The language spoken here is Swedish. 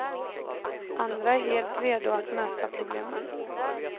Andra är helt redo att möta problemen.